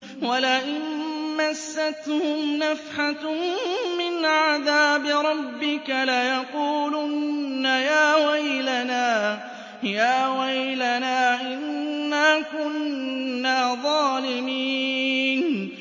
وَلَئِن مَّسَّتْهُمْ نَفْحَةٌ مِّنْ عَذَابِ رَبِّكَ لَيَقُولُنَّ يَا وَيْلَنَا إِنَّا كُنَّا ظَالِمِينَ